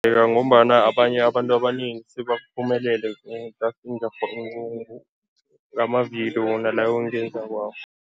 Ngombana abanye abantu abanengi sebaphumelele ngamavidiyo wona lawa engiwenzako